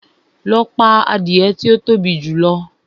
Lọ pa adìẹ tí ó tóbi jù!